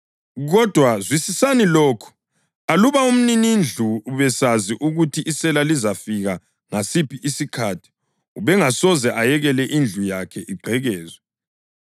Kodwa zwisisani lokhu: Aluba umninindlu ubesazi ukuthi isela lizafika ngasiphi isikhathi ubengasoze ayekele indlu yakhe igqekezwe.